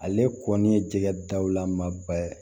Ale kɔni ye jɛgɛ daw lamaba ye